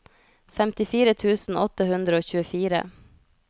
femtifire tusen åtte hundre og tjuefire